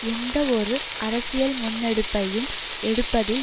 எந்தவொரு அரசியல் முன்னெடுப்பையும் எடுப்பதில்